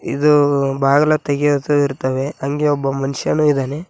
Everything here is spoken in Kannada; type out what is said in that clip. ಇದು ಬಾಗಲ ತೆಗೆಯೋದು ಇರ್ತಾವೆ ಹಂಗೆ ಒಬ್ಬ ಮನುಷ್ಯಾನು ಇದಾನೆ.